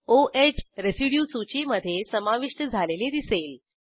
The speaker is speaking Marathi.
o ह रेसिड्यू सूचीमधे समाविष्ट झालेले दिसेल